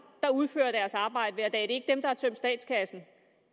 der udfører deres arbejde hver dag det er ikke har tømt statskassen